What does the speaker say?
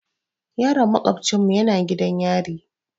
Yaron maƙofcinmu yana gidan yari.